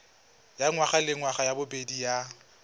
ya ngwagalengwaga ya bobedi ya